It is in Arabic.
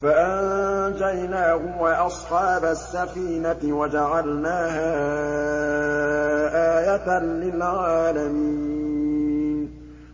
فَأَنجَيْنَاهُ وَأَصْحَابَ السَّفِينَةِ وَجَعَلْنَاهَا آيَةً لِّلْعَالَمِينَ